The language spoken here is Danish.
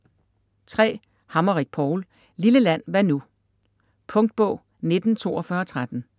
Hammerich, Paul: Lille land hvad nu? Punktbog 194213